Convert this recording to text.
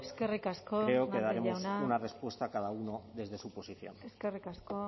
creo que daremos una respuesta a cada uno desde su posición eskerrik asko